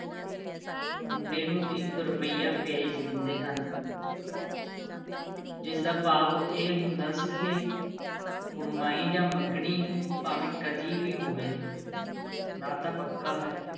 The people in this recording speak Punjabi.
ਮੁੰਡੇ ਨੂੰ ਇੱਕ ਰੁਪਈਆ ਭੇਜ ਦਿੰਦੇ ਸਨ ਜਿਸ ਦਾ ਭਾਵ ਇਹ ਹੁੰਦਾ ਸੀ ਕਿ ਕੁੜਮਾਈ ਜਾਂ ਮੰਗਣੀ ਭਾਵੇਂ ਕਦੀ ਵੀ ਹੋਵੇ ਨਾਤਾ ਪੱਕਾ ਹੈ।